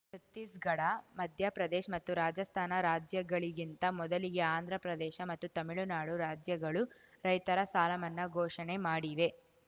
ಛತ್ತೀಸ್‌ಗಢ ಮಧ್ಯಪ್ರದೇಶ್ ಮತ್ತು ರಾಜಸ್ಥಾನ ರಾಜ್ಯಗಳಿಗಿಂತ ಮೊದಲಿಗೆ ಆಂಧ್ರಪ್ರದೇಶ ಮತ್ತು ತಮಿಳುನಾಡು ರಾಜ್ಯಗಳು ರೈತರ ಸಾಲಮನ್ನಾ ಘೋಷಣೆ ಮಾಡಿವೆ